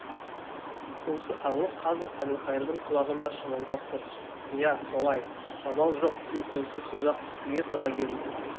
осы аңыз қазір әбілқайырдың құлағында шыңылдап тұр иә солай амал жоқ үн-түнсіз ұзақ күтуге тура келді